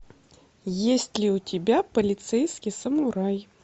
есть ли у тебя полицейский самурай